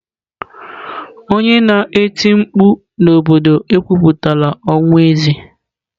Onye na-eti mkpu n'obodo ekwupụtala ọnwụ eze?